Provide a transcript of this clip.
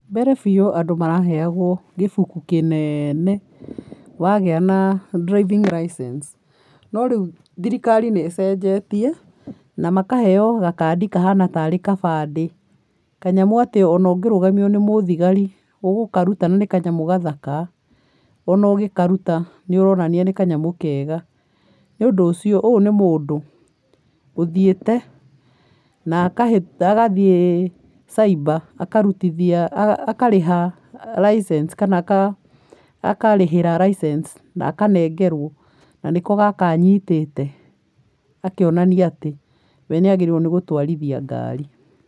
Mbere biũ andũ maraheagwo gĩbuku kĩnene, wagĩa na driving licence , no rĩu thirikari nĩ ĩcenjetie, na makaheo gakandi kahana tarĩ gabandĩ. Kanyamũ atĩ ona ũngĩrũgamio nĩ mũthigari, ũgũkaruta na nĩ kanyamũ gathaka, ona ũgĩkaruta, nĩ ũronania nĩ kanyamũ kega. Nĩ ũndũ ũcio, ũyũ nĩ mũndũ, ũthiĩte na agathiĩ cyber akarutithia, akarĩha licence kana akarĩhĩra licence na akanengerwo, na nĩko gaka anyitĩte, akĩonania atĩ, we nĩ agĩrĩire nĩ gũtwarithia ngari.